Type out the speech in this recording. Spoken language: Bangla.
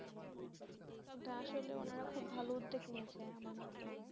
বাঃ আসলে উনারা খুব ভালো উদ্যোগ নিয়েছে আমার মতে